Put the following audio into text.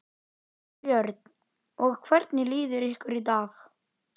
Björn: Og hvernig líður ykkur í dag?